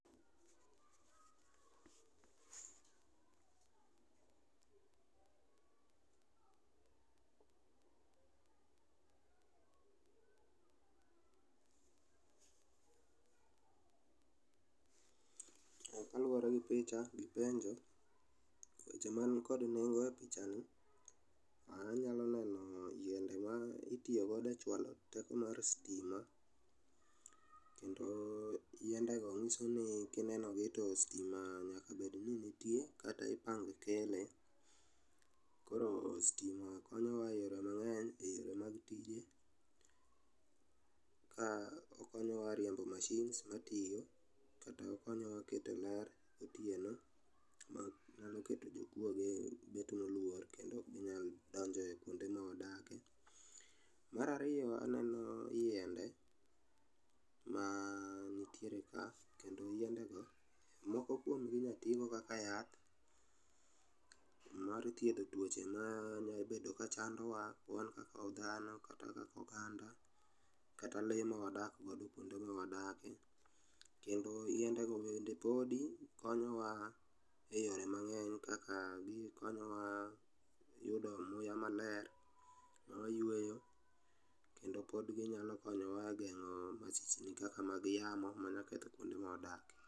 Eh kaluore gi picha gi penjo, weche man kod nengo e pichani, anyalo neno yiende ma itiogo e chwalo teko mar stima, kendo yiende go nyiso ni kinenogi to stima nyaka bed ni nitie, kata ipang kele. Koro stima konyowa e yore mang'eny e yore mag tije, ka okonyowa e riembo machines matio kata okonyowa e keto ler gotieno, onyalo keto jokwoge bet molwor kendo oknyal donjo e kwonde mawadake. Marario, aneno yiende manitiere e kendo yiende go, moko kwomgi inya tiigo kaka yath mar thiedho twoche ma nyabedo kachandowa wan kaka odhano kata kaka oganda , kata lee mawadak godo kwonde mawadake, kendo yiende go bende podi konyowa e yore mang'eny kaka konyowa yudo muya maler mawa yweyo, kendo pod ginyalo konyowa e geng'o masichni kaka mag yamo manya ketho kwonde mawadake.